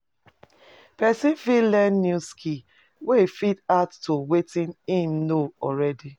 Person fit learn new skill wey fit add to wetin im know already